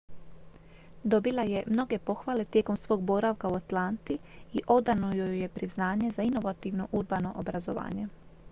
dobila je mnoge pohvale tijekom svog boravka u atlanti i odano joj je priznanje za inovativno urbano obrazovanje